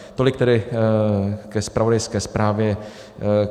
Tolik tedy ke zpravodajské zprávě.